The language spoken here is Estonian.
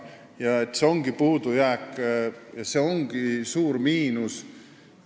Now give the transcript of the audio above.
Ja see ongi puudujääk, see ongi suur miinus.